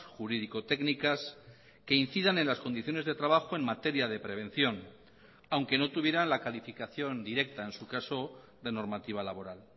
jurídico técnicas que incidan en las condiciones de trabajo en materia de prevención aunque no tuvieran la calificación directa en su caso de normativa laboral